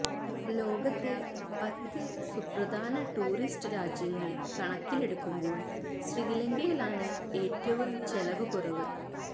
ലോകത്തെ പത്ത് സുപ്രധാന ടൂറിസ്റ്റ് രാജ്യങ്ങൾ കണക്കിലെടുക്കുമ്പോൾ ശ്രീലങ്കയിലാണ് ഏറ്റവും ചെലവുകുറവ്